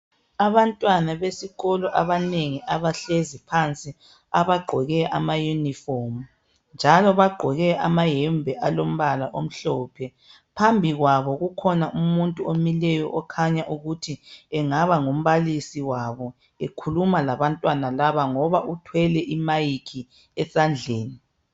Abantwana besikolo abanengi abahlezi phansi abagqoke amaunifomu njalo bagqoke amayembe alombala omhlophe .Phambi kwabo kukhona umuntu omileyo okhanya ukuthi engaba ngumbalisi wabo ekhuluma labantwana laba ngoba uthwele imayikhi esandleni.